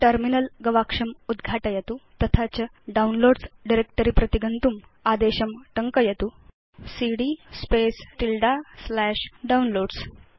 terminal गवाक्षम् उद्घाटयतु तथा च अधस्तन आदेशं टङ्कयित्वा डाउनलोड्स डायरेक्ट्री प्रति गच्छतु सीडी Downloads